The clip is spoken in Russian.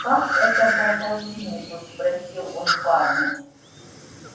как это по полтиннику спросил он парня